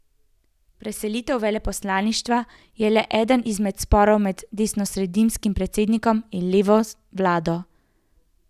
Preselitev veleposlaništva je le eden izmed sporov med desnosredinskim predsednikom in levo vlado.